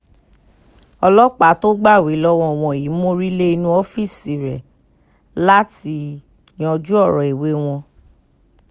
ọlọ́pàá tó gbàwé lọ́wọ́ wọn yìí mórí lé inú ọ́fíìsì rẹ̀ láti yanjú ọ̀rọ̀ ìwé wọn